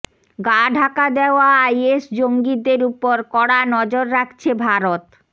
গা ঢাকা দেওয়া আইএস জঙ্গিদের ওপর কড়া নজর রাখছে ভারত